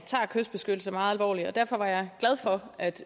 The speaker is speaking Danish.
tager kystbeskyttelse meget alvorligt og derfor var jeg glad for at